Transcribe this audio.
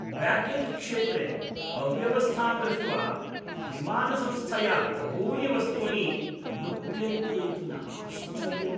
ब्यागेज्क्षेत्रे अव्यवस्थां दृष्ट्वा विमानसंस्थया बहूनि वस्तूनि लुप्यन्ते इति न आश्चर्यम्।